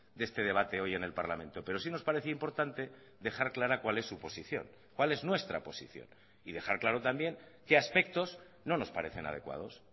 de este debate hoy en el parlamento pero sí nos parece importante dejar clara cuál es su posición cuál es nuestra posición y dejar claro también qué aspectos no nos parecen adecuados